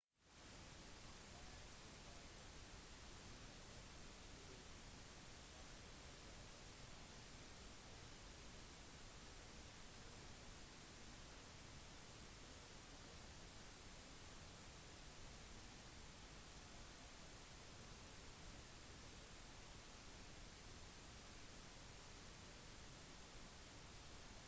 arbeidstakere må ofte få sine overordnedes godkjennelse på eventuelle beslutninger de tar og er forventet å adlyde sine overordnedes instruksjoner uten å stille spørsmål